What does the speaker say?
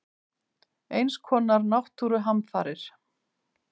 Eins konar náttúruhamfarir.